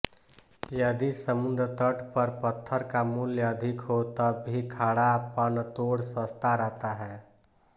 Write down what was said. यदि समुद्रतट पर पत्थर का मूल्य अधिक हो तब भी खड़ा पनतोड़ सस्ता रहता है